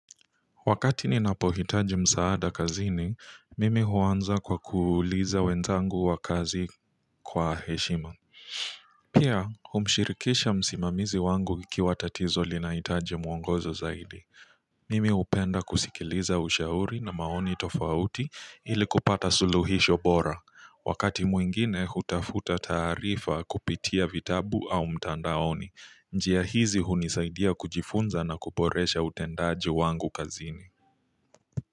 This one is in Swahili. Wakati ninapohitaji msaada kazini, mimi huanza kwa kuuliza wenzangu wa kazi kwa heshima. Pia, humshirikisha msimamizi wangu ikiwa tatizo linahitaji mwongozo zaidi. Mimi hupenda kusikiliza ushauri na maoni tofauti ili kupata suluhisho bora. Wakati mwingine, hutafuta taarifa kupitia vitabu au mtandaoni. Njia hizi hunisaidia kujifunza na kuboresha utendaji wangu kazini.